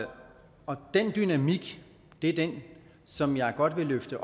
den dynamik som jeg godt vil løfte